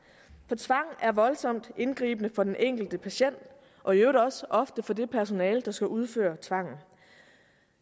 for tvang er voldsomt indgribende for den enkelte patient og i øvrigt også ofte for det personale der skal udføre tvangen